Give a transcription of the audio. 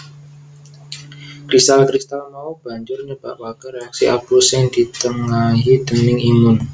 Kristal kristal mau banjur nyebabake reaksi abuh sing ditengahi déning imun